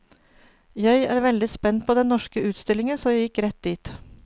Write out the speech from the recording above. Jeg var veldig spent på den norske utstillingen så jeg gikk rett dit.